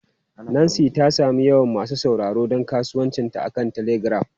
Nancy ta sami yawan masu sauraro don kasuwancinta akan telegram.